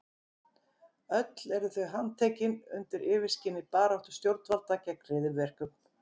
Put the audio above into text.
Öll eru þau handtekin undir yfirskini baráttu stjórnvalda gegn hryðjuverkum.